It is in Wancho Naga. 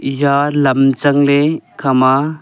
ejha lam chang ley ekha ma--